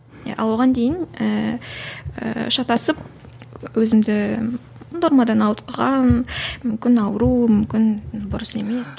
ал оған дейін ііі шатасып өзімді нормадан ауытқыған мүмкін ауру мүмкін дұрыс емес